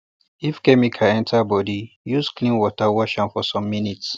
if chemical enter body use clean water wash for some minutes